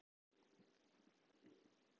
Svanþrúður, ekki fórstu með þeim?